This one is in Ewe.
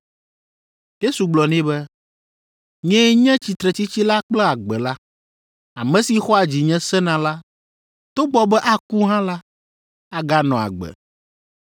Yesu gblɔ nɛ be, “Nyee nye Tsitretsitsi la kple Agbe la. Ame si xɔa dzinye sena la, togbɔ be aku hã la, aganɔ agbe;